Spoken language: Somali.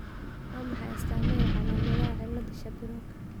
Waa maxay astaamaha iyo calaamadaha cillada Shapiroka?